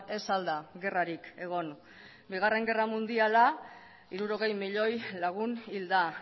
ez al da gerrarik egon bigarren gerra mundiala hirurogei milioi lagun hil da